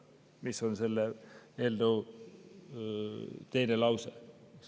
See on selle eelnõu teine lause.